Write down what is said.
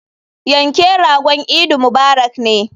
Yanke ragon idi mubarak ne.